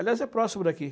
Aliás, é próximo daqui.